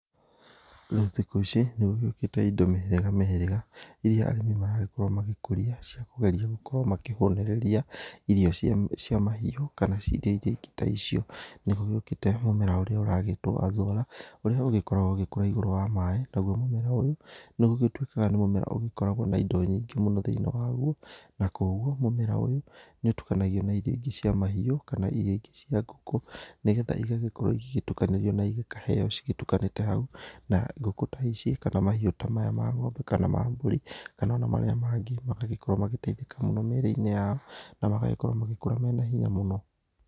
Rĩu thikũ ici nĩ gũgĩũkĩte ĩndo mĩhĩrĩga mĩhĩrĩga iria arĩmi maragĩkorwo magĩkũria cia kũgeria gũkorwo makĩhũnĩrĩria irio cia mahiũ kana ĩndo iria ĩngĩ ta icio. Nĩgũgĩũkĩte mũmera ũrĩa ũragĩtwo azora ũrĩa ũgĩkoragwo ũgĩkũra igũrũ wa maĩ, naguo mũmera ũyũ nĩgũgĩtuĩkaga nĩ mũmera ũgĩkoragwo na ĩndo nyingĩ mũno thĩinĩ waguo na koguo mũmera ũyũ nĩ ũtukanagio na irio ĩngĩ cia mahiũ kana irio ĩngĩ cia ngũkũ nĩgetha ĩgagĩkorwo ĩgĩgĩtukanĩrio na irio ĩkaheyo cigĩtukanĩte hau, na ngũkũ ta ici kana mahiũ ta maya ma ng'ombe kana ma mbũri kana ona marĩa mangĩ magagĩkorwo magĩteithĩka mũno mĩrĩ-inĩ yao na magagĩkorwo magĩkũra mena hinya mũno.